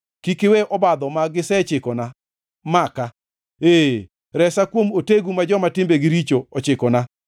Kik iwe obadho ma gisechikona maka, ee, resa kuom otegu ma joma timbegi richo ochikona.